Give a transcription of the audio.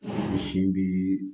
Sin bi